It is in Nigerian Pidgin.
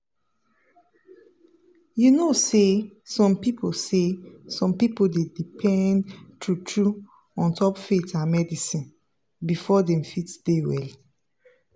you know say some people say some people dey depend true true ontop faith and medicine before dem fit dey well.